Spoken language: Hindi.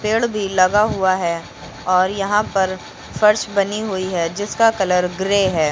पेड भी लगा हुआ है और यहां पर फर्श बनी हुई है जिसका कलर ग्रे है।